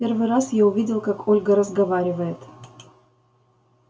первый раз я увидел как ольга разговаривает